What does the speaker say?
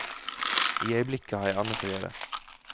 I øyeblikket har jeg annet å gjøre.